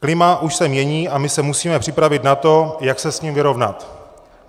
Klima už se mění a my se musíme připravit na to, jak se s ním vyrovnat.